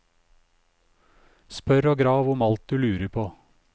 Spør og grav om alt du lurer på.